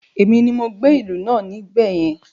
Èmi ni mo gbé ìlú náà níbẹ̀ yẹn